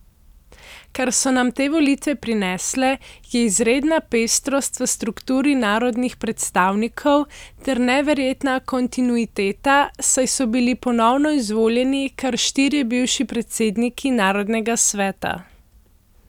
Kar so nam te volitve prinesle, je izredna pestrost v strukturi narodnih predstavnikov ter neverjetna kontinuiteta, saj so bili ponovno izvoljeni kar štirje bivši predsedniki Narodnega sveta.